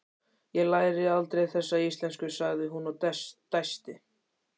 Ég læri aldrei þessi íslenska, sagði hún og dæsti.